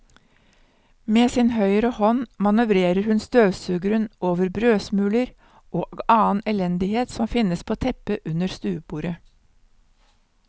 Med sin høyre hånd manøvrerer hun støvsugeren over brødsmuler og annen elendighet som finnes på teppet under stuebordet.